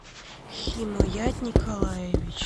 химоят николаевич